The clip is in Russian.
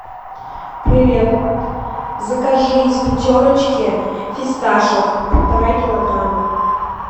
привет закажи из пятерочки фисташек полтора килограмма